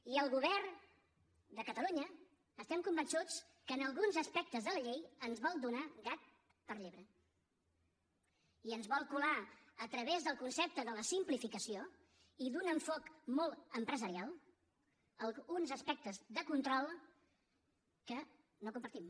i el govern de catalunya estem convençuts que en alguns aspectes de la llei ens vol donar gat per llebre i ens vol colar a través del concepte de la simplificació i d’un enfocament molt empresarial alguns aspectes de control que no compartim